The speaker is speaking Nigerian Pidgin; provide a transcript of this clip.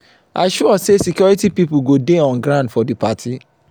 i sure sey security pipo go dey on ground for di party.